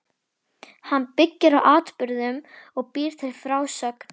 Hann byggir á atburðum og býr til frásögn.